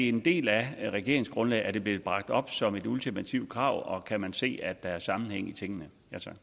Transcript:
en del af regeringsgrundlaget er det blevet bragt op som et ultimativt krav og kan man se at der er sammenhæng i tingene